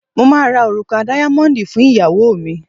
mo ma ra òrùka díámóndi fún ìyàwó mi